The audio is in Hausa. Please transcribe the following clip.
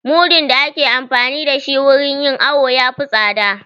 Mudu da ake amfani da shi wurin yin awo ya fi tsada